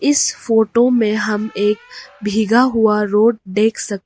इस फोटो में हम एक भीगा हुआ रोड देख सक--